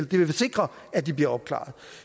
det vil sikre at de bliver opklaret